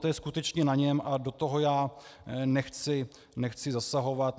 To je skutečně na něm a do toho já nechci zasahovat.